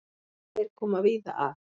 Þeir koma víða að.